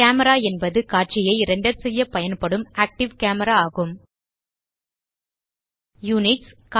camera என்பது காட்சியை render செய்யப் பயன்படும் ஆக்டிவ் கேமரா ஆகும் யுனிட்ஸ்